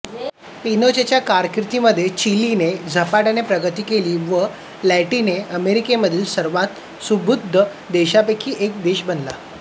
पिनोचेच्या कारकीर्दीमध्ये चिलीने झपाट्याने प्रगती केली व तो लॅटिन अमेरिकेमधील सर्वात सुबत्त देशांपैकी एक बनला